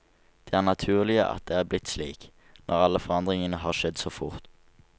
Det er naturlig at det er blitt slik, når alle forandringer har skjedd så fort.